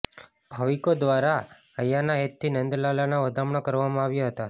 ભાવિકો દ્વારા હૈયાના હેતથી નંદલાલાના વધામણા કરવામાં આવ્યા હતા